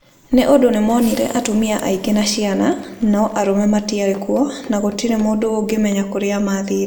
Nĩ ũndũ nĩ monire atumia aingĩ na ciana, no arũme matiarĩ kuo, na gũtirĩ mũndũ ũngĩmenya kũrĩa maathire.